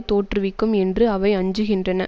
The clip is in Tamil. தோற்றுவிக்கும் என்று அவை அஞ்சுகின்றன